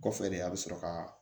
Kɔfɛ de a bɛ sɔrɔ ka